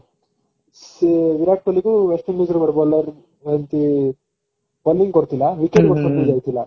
ସେ ବିରାଟ କୋହଲିକୁ west indies ର ଗୋଟେ bowler ଏମିତି bowling କରିଥିଲା wicket ଗୋଟେ କଟି ଯାଇଥିଲା